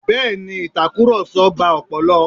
Bẹ́ẹ̀ ni, ìtakùrọ̀sọ gba ọpọlọ.